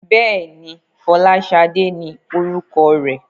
Bẹ́ẹ̀ni, Fọláṣadé ni orúkọ rẹ̀?